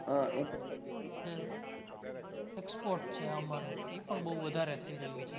જે export છે આંબાનું ઇ પણ બહુ વધારે થઈ રહ્યું છે.